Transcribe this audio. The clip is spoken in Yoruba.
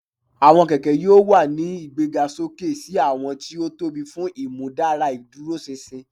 Awọn kẹkẹ yoo wa ni igbegasoke si awọn ti o tobi fun imudara iduroṣinṣin